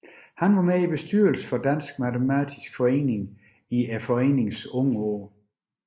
Han var med i bestyrelsen for Dansk Matematisk Forening i foreningens unge år